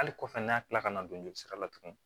Hali kɔfɛ n'a kilala ka na don jolisira la tuguni